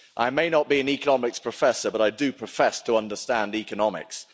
I may not be an Economics Professor, but I do profess to understand economics.